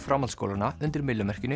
framhaldsskólanna undir myllumerkinu